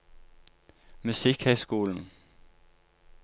musikkhøyskolen